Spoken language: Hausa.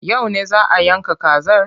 Yau ne za a yanka kazar?